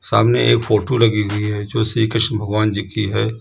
सामने एक फोटो लगी हुई है जो श्री कृष्णा भगवान जी की है।